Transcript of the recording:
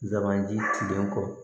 Dabaji tilenen kɔ